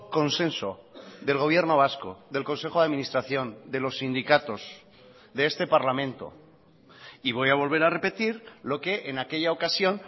consenso del gobierno vasco del consejo de administración de los sindicatos de este parlamento y voy a volver a repetir lo que en aquella ocasión